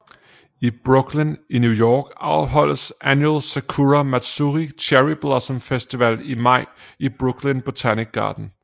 I Brooklyn i New York afholdes Annual Sakura Matsuri Cherry Blossom Festival i maj i Brooklyn Botanic Garden